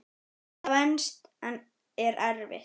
Þetta venst en er erfitt.